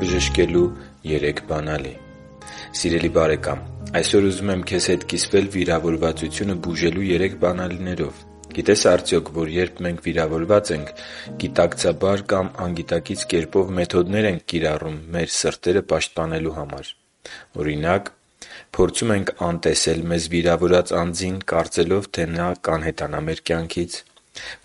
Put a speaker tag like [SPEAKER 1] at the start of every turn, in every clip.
[SPEAKER 1] բժշկելու երեք բանալի Սիրելի՛ բարեկամ, այսօր ուզում եմ քեզ հետ կիսվել վիրավորվածությունը բուժելու 3 բանալիներով։ Գիտե՞ս արդյոք, որ երբ վիրավորված ենք, մենք գիտակցաբար կամ անգիտակից կերպով մեթոդներ ենք կիրառում մեր սրտերը պաշտպանելու համար։ Օրինակ… Փորձում ենք անտեսել մեզ վիրավորած անձին՝ կարծելով, թե նա կանհետանա մեր կյանքից: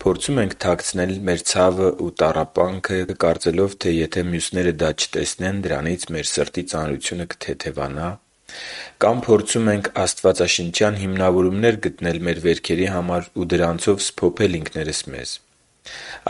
[SPEAKER 1] Փորձում ենք թաքցնել մեր ցավն ու տառապանքը՝ կարծելով, թե եթե մյուսները դա չտեսնեն, դրանից մեր սրտի ծանրությունը կթեթևանա։ Կամ փորձում ենք աստվածաշնչյան հիմնավորումներ գտնել մեր կրած վերքերի համար ու դրանցով սփոփել ինքներս մեզ։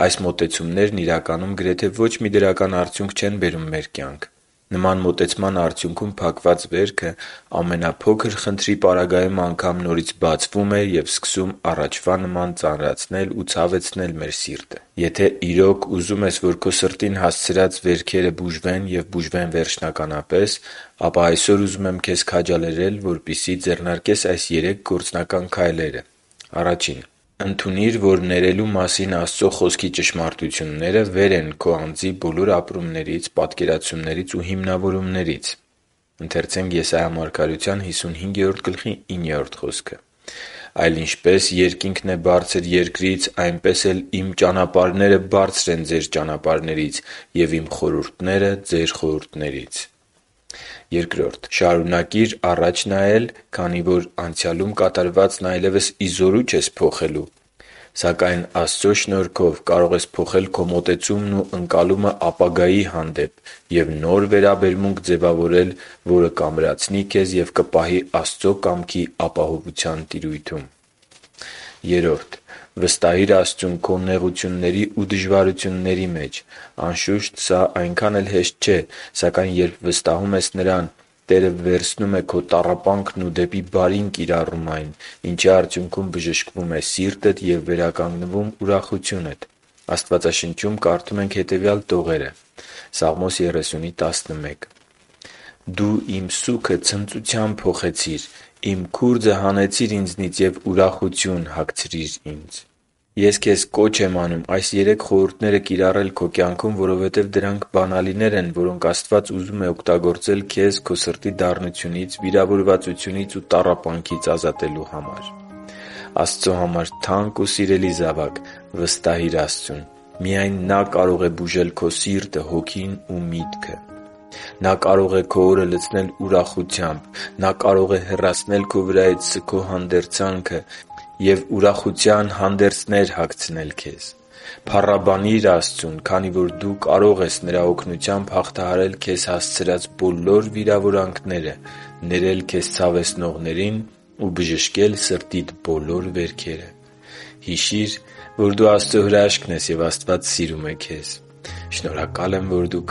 [SPEAKER 1] Այս մոտեցումներն, իրականում, գրեթե ոչ մի դրական արդյունք չեն բերում մեր կյանք։ Նման մոտեցման արդյունքում փակված վերքը ամենափոքր խնդրի պարագայում անգամ նորից բացվում է և սկսում առաջվա նման ծանրացնել ու ցավեցնել մեր սիրտը։ Եթե իրոք ուզում ես, որ քո սրտին հասցրած վերքերը բուժվեն և բուժվեն վերջնականապես, ապա այսօր ուզում եմ քեզ քաջալերել, որպեսզի ձեռնարկես այս երեք գործնական քայլերը. Ընդունի՛ր, որ ներելու մասին Աստծո Խոսքի ճշմարտությունները վեր են քո անձի բոլոր ապրումներից, պատկերացումներից և հիմնավորումներից․ «Այլ ինչպես երկինքն է բարձր երկրից, այնպես էլ Իմ ճանապարհները բարձր են ձեր ճանապարհներից, և Իմ խորհուրդները՝ ձեր խորհուրդներից» (Եսայիա 55․9)։ Շարունակի՛ր առաջ նայել, քանի որ անցյալում կատարվածն այլևս ի զորու չես փոխելու։ Սակայն Աստծո շնորհքով կարող ես փոխել քո մոտեցումն ու ընկալումը ապագայի հանդեպ և նոր վերաբերմունք ձևավորել, որը կամրացնի քեզ և կպահի Աստծո կամքի ապահովության տիրույթում։ Վստահի՛ր Աստծուն քո նեղությունների ու դժվարությունների մեջ։ Անշուշտ, սա այնքան էլ հեշտ չէ։ Սակայն երբ վստահում ես Նրան, Նա վերցնում է քո տառապանքն ու դեպի բարին կիրառում այն, ինչի արդյունքում բժշկվում է սիրտդ և վերականգնվում ուրախությունդ։ Աստվածաշնչում կարդում ենք հետևյալ տողերը. «Դու իմ սուգը ցնծության փոխեցիր. իմ քուրձը հանեցիր ինձնից և ուրախություն հագցրիր ինձ» (Սաղմոս 30․11)։ Ես քեզ կոչ եմ անում այս երեք խորհուրդները կիրառել քո կյանքում, որովհետև դրանք բանալիներ են, որոնք Աստված ուզում է օգտագործել քեզ քո սրտի դառնությունից, վիրավորվածությունից ու տառապանքից ազատելու համար։ Աստծո համար թանկ ու սիրելի՛ զավակ, վստահի՛ր Աստծուն։ Միայն Նա կարող է բուժել քո սիրտը, հոգին ու միտքը։ Նա կարող է քո օրը լցնել ուրախությամբ։ Նա կարող է հեռացնել քո վրայից սգո հանդերձանքը և ուրախության հանդերձներ հագցնել քեզ։ Փառաբանի՛ր Աստծուն, քանի որ դու կարո՛ղ ես նրա օգնությամբ հաղթահարել քեզ հասցրած բոլոր վիրավորանքները, ներել քեզ ցավեցնողներին ու բժշկել սրտիդ բոլոր վերքերը։ Հիշի՛ր, որ դու Աստծո հրաշքն ես, և Աստված սիրում է քեզ։ Շնորհակալ եմ, որ դու